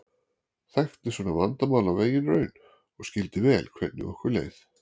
Þekkti svona vandamál af eigin raun og skildi vel hvernig okkur leið.